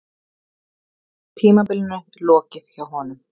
Tímabilinu lokið hjá honum